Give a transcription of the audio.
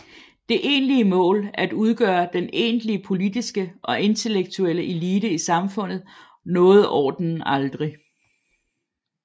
Det egentlige mål at udgøre den egentlige politiske og intellektuelle elite i samfundet nåede ordenen aldrig